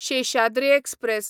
Seshadri express